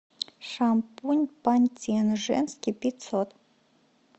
шампунь пантин женский пятьсот